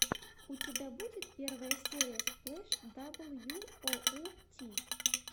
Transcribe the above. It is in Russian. у тебя будет первая серия сплэш дабл ю оу ти